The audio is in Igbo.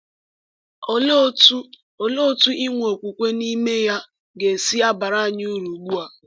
Olee otú Olee otú inwe okwukwe n’ime ya ga-esi baara anyị uru ugbu a?